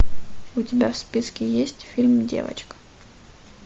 у тебя в списке есть фильм девочка